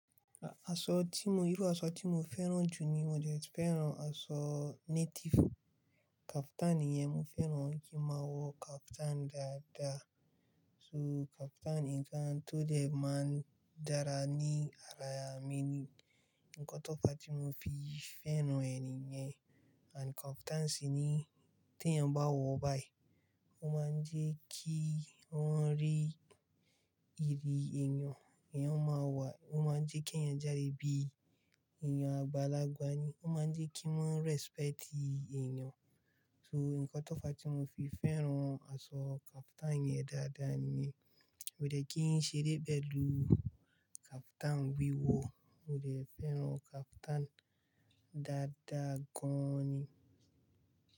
Irú aṣọ tí mo fẹ́ràn jù ni; mo fẹ́ràn aṣọ native, kaftan, ìyẹn, mo fẹ́ràn kí máa wọ kaftan dáadáa. So kaftan nìkan tó dẹ́ máa ń dára ní ara mi. Nǹkan tó fa tí mo fi fẹ́ràn e niyẹn. Àti kaftan sì niyi tí èèyàn bá wọ̀ báyìí, ó máa ń jẹ́ kí wọ́n rí ìyi èèyàn. O máa ń jẹ́ kí èèyàn jáde bií èèyàn àgbàlagbà ni. Ó máa ń jẹ́ kí wọ́n respect èèyàn. So nǹkan tó fa tí mo fi fẹ́ràn aṣọ kaftan yẹn dáadáa niyen. Mio dẹ̀ kí ń ṣeré pẹ̀lú kaftan wíwọ̀, mo de fẹ́ràn kaftan dáadáa gan ni.